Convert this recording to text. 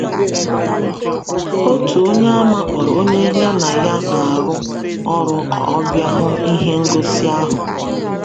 Otu Onyeàmà kpọrọ onye ya na ya na-arụ ọrụ ka ọ bịa hụ ihe ngosi ahụ.